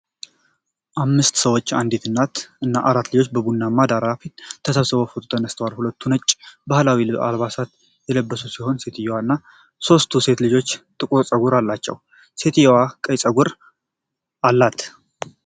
አምስት ሰዎች፣ አንዲት እናት እና አራት ልጆች በቡናማ ዳራ ፊት ተሰባስበው ፎቶ ተነስተዋል። ሁሉም ነጭ ባህላዊ አልባሳት የለበሱ ሲሆን፣ ሴትየዋ እና ሦስቱ ሴት ልጆች ጥቁር ፀጉር አላቸው። ሴትየዋ ቀይ ፀጉር አላት።